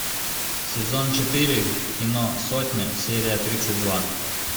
сезон четыре кино сотня серия тридцать два